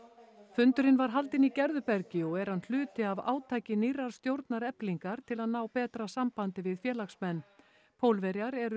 fundurinn var haldinn í Gerðubergi og er hann hluti af átaki nýrrar stjórnar Eflingar til að ná betra sambandi við félagsmenn Pólverjar eru